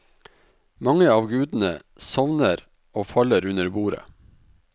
Mange av gudene sovner og faller under bordet.